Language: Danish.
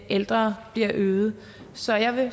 ældre bliver øget så jeg vil